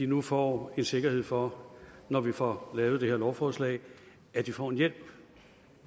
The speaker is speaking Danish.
nu får en sikkerhed for når vi får lavet det her lovforslag at de får hjælp